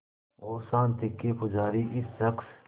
और शांति के पुजारी इस शख़्स